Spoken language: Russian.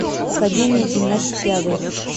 академия гимнастики адрес